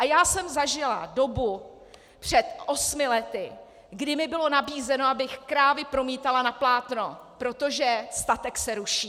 A já jsem zažila dobu před osmi lety, kdy mi bylo nabízeno, abych krávy promítala na plátno, protože statek se ruší.